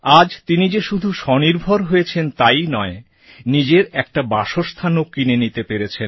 আজ তিনি যে শুধু স্বনির্ভর হয়েছেন তাইই নয় নিজের একটা বাসস্থানও কিনে নিতে পেরেছেন